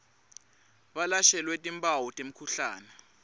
balashelwe timphawu temkhuhlane